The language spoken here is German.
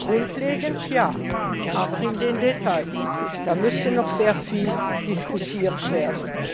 Grundlegend ja, aber in den Details müsste noch sehr viel diskutiert werden.